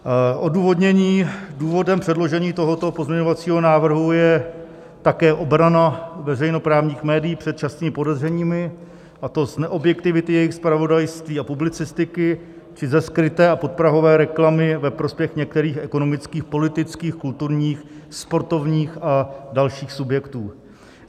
Odůvodnění: Důvodem předložení tohoto pozměňovacího návrhu je také obrana veřejnoprávních médií před častými podezřeními, a to z neobjektivity jejich zpravodajství a publicistiky či ze skryté a podprahové reklamy ve prospěch některých ekonomických, politických, kulturních, sportovních a dalších subjektů.